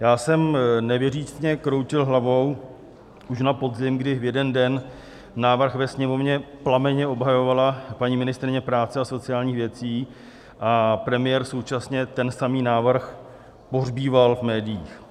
Já jsem nevěřícně kroutil hlavou už na podzim, kdy v jeden den návrh ve Sněmovně plamenně obhajovala paní ministryně práce a sociálních věcí, a premiér současně ten samý návrh pohřbíval v médiích.